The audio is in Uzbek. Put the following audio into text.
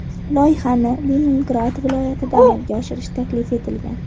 Loyihani Leningrad viloyatida amalga oshirish taklif etilgan.